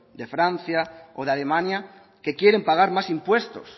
de francia o de alemania que quieren pagar más impuestos